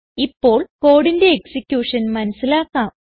ഇപ്പോൾ കോഡിന്റെ എക്സിക്യൂഷൻ മനസിലാക്കാം